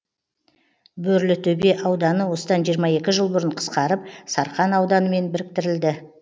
бөрлітөбе ауданы осыдан жиырма екі жыл бұрын қысқарып сарқан ауданымен біріктірілді